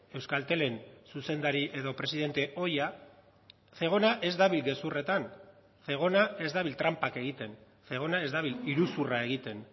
euskaltelen zuzendari edo presidente ohia zegona ez dabil gezurretan zegona ez dabil tranpak egiten zegona ez dabil iruzurra egiten